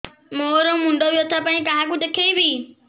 ମୋର ମୁଣ୍ଡ ବ୍ୟଥା ପାଇଁ କାହାକୁ ଦେଖେଇବି